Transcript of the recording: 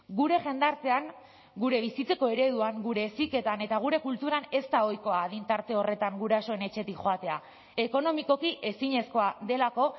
gure jendartean gure bizitzeko ereduan gure heziketan eta gure kulturan ez da ohikoa adin tarte horretan gurasoen etxetik joatea ekonomikoki ezinezkoa delako